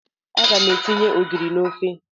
Aga m etinye ogiri na ofe.